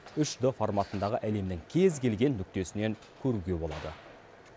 үш д форматындағы әлемнің кез келген нүктесінен көруге болады